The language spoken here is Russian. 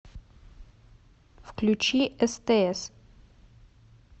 включи стс